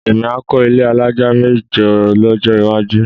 Èmi á kọ́ ilé alájà mẹ́jọ lọ́jọ́ iwájú